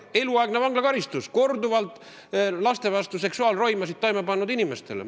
Võiks tõesti olla eluaegne vanglakaristus korduvalt laste vastu seksuaalroimasid toime pannud inimestele.